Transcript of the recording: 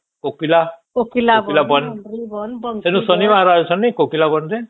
କୋକିଲା କୋକିଲା ବନ ଵେନୁ ଶନିବାର ଆସିଚେ ନାଇଁ କୋକିଲା ବନ ରେ